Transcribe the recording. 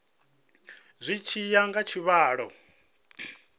zwi tshi ya nga tshivhalo